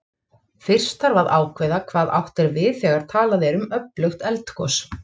Fyrst þarf að ákveða hvað átt er við þegar talað er um öflugt eldgos.